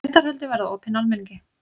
Réttarhöldin verða opin almenningi